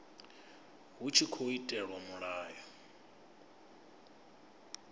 hu tshi tkhou itelwa mulayo